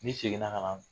N'i seginna ka na